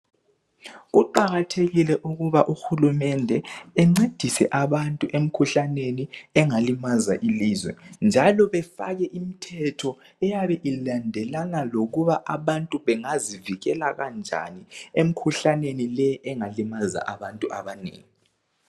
Kuqakathekile ukuba uhulumende encedise abantu emkhuhlaneni engalimaza ilizwe njalo befake imthetho eyabe ilandelana lokuba abantu bengazivikela kanjani emkhuhlaneni leyi engalimaza abantu abanengi.